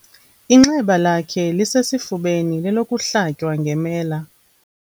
Inxeba lakhe lisesifubeni lelokuhlatywa ngemela.